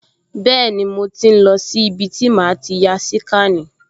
Bẹ́ẹ̀ni, mo ti ń lọ sí ibi tí màá ti ya síkànì